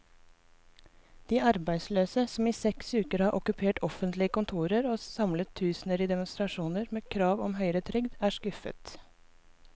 De arbeidsløse, som i seks uker har okkupert offentlige kontorer og samlet tusener i demonstrasjoner med krav om høyere trygd, er skuffet.